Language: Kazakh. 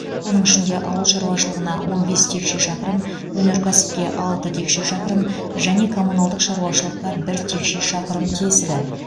оның ішінде ауыл шаруашылығына он бес текше шақырым өнеркәсіпке алты текше шақырым және коммуналдық шаруашылыққа бір текше шақырым тиесілі